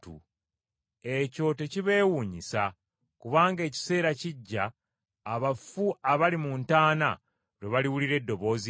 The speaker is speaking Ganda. “Ekyo tekibeewuunyisa, kubanga ekiseera kijja abafu abali mu ntaana lwe baliwulira eddoboozi lye